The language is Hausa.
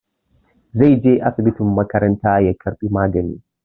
Zai je asibitin makaranta ya karɓi magani.